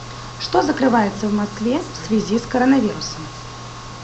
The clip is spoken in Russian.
что закрывается в москве в связи с коронавирусом